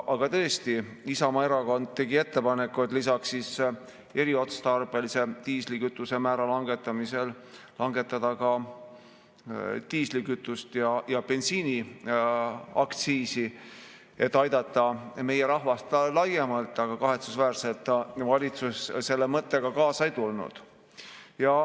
Aga tõesti, Isamaa Erakond tegi ettepaneku, et lisaks eriotstarbelise diislikütuse määra langetamisele langetada ka diislikütuse ja bensiini aktsiisi, et aidata meie rahvast laiemalt, aga valitsus selle mõttega kahetsusväärselt kaasa ei tulnud.